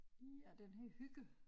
Ja den hedder Hygge